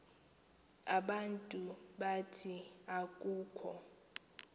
abantu abathi akukho